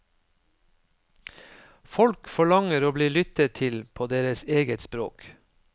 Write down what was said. Folk forlanger å bli lyttet til på deres eget språk.